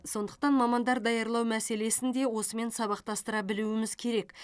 сондықтан мамандар даярлау мәселесін де осымен сабақтастыра білуіміз керек